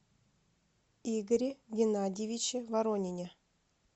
игоре геннадьевиче воронине